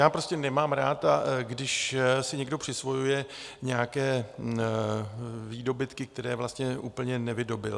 Já prostě nemám rád, když si někdo přisvojuje nějaké výdobytky, které vlastně úplně nevydobyl.